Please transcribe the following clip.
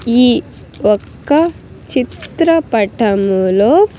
ఈ ఒక్క చిత్రపటములో.